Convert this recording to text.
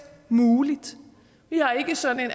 muligt vi har ikke sådan en